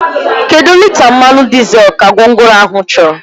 Kedụ lita mmanụ dizel ka gwongworo ahụ chọrọ?